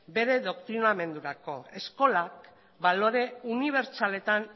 bere doktrinamendurako eskolak balore unibertsaletan